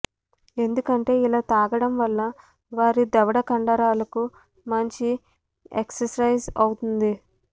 ఎందుకంటే ఇలా తాగడం వల్ల వారి దవడ కండరాలకు మంచి ఎక్సర్సైజ్ అవుతుంది